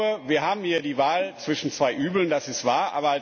Ich glaube, wir haben hier die Wahl zwischen zwei Übeln, das ist wahr.